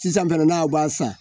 Sisan fɛnɛ n'aw b'a san